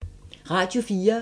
Radio 4